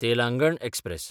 Telangana express